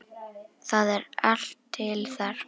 Það er allt til þar.